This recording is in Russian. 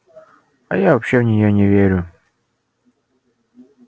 а я вообще в неё не верю